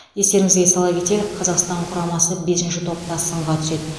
естеріңізге сала кетелік қазақстан құрамасы бесінші топта сынға түседі